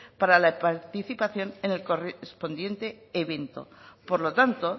para la participación en el correspondiente evento por lo tanto